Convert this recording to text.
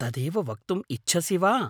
तदेव वक्तुम् इच्छसि वा?